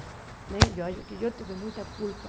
Né eu acho que eu tive muita culpa.